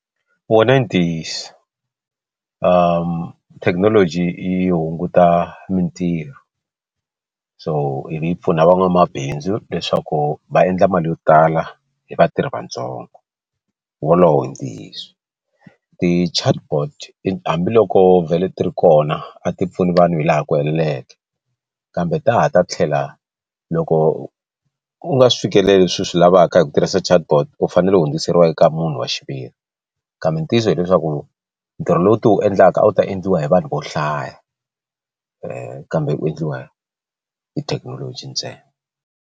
Wona i ntiyiso thekinoloji yi hunguta mitirho so yi pfuna van'wamabindzu leswaku va endla mali yo tala hi vatirhi vatsongo wolowo i ntiyiso ti chatbot i hambiloko vhele ti ri kona a ti pfuni vanhu hi laha ku heleleke kambe ta ha ta tlhela loko u nga swi fikeleli swilo swi lavaka hi kha hi ku tirhisa chatbot u fanele u hundziseriwa eka munhu wa xiviri kambe ntiyiso hileswaku ntirho lowu ti wu endlaka a wu ta endliwa hi vanhu vo hlaya kambe u endliwa hi thekinoloji ntsena.